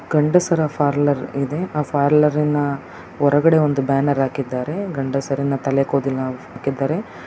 ಗಂಡಸರ ಪಾರ್ಲರ್ ಇದೆ ಆ ಪಾರ್ಲರಿನ ಹೊರಗಡೆ ಒಂದು ಬ್ಯಾನರ್ ಅಕಿದಾರೆ ಗಂಡಸರಿನ ತಲೆ ಕೂದಲಿನ ಆಕಿಧಾರೆ.